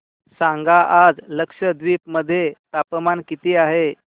सांगा आज लक्षद्वीप मध्ये तापमान किती आहे